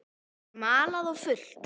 Það er malað á fullu.